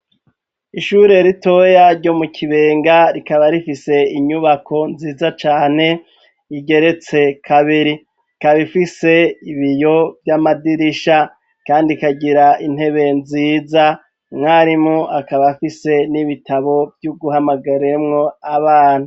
Ishure ritoya ryo mu kibenga rikaba rifise inyubako nziza cane igeretse kabiri ikabaifise ibiyo vy'amadirisha kandi kagira intebe nziza mwarimu akaba afise n'ibitabo vy'uguhamagaremwo abana.